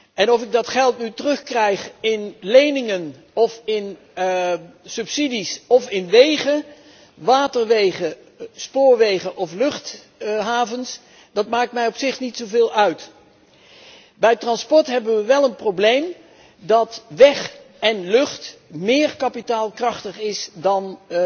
En of ik dat geld nu terugkrijg in leningen of in subsidies of in wegen, waterwegen, spoorwegen of luchthavens, dat maakt mij op zich niet zoveel uit. Bij transport hebben we wel een probleem dat weg en lucht kapitaalkrachtiger zijn